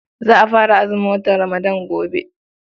Za a fara azumin watan Ramadan gobe.